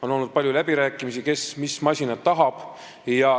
On olnud palju läbirääkimisi, kes mis masinat tahab.